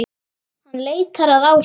Hann leitar að Ásu.